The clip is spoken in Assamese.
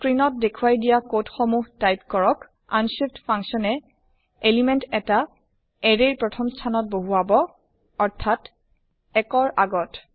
স্ক্ৰিন ত দেখুৱাই দিয়া কোড সমুহ টাইপ কৰক আনশিফ্ট functionয়ে এলিমেন্ট এটা এৰে ৰ প্ৰথম স্থানত বহুৱাব অৰ্থাত ১ ৰ আগত